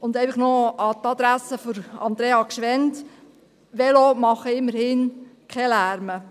An die Adresse von Andrea Gschwend: Velos machen immerhin keinen Lärm.